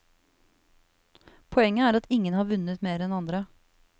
Poenget er at ingen har vunnet mer enn andre.